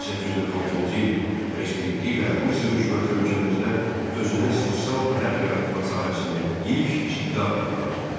1846-cı il reskripti ilə Rusiya hökuməti ölkəmizdə özünə sosial dayaq yaratmaq sahəsində ilk ciddi addımını atdı.